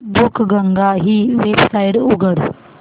बुकगंगा ही वेबसाइट उघड